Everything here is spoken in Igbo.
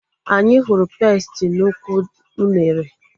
Anyị hụrụ pesti n'ukwu unere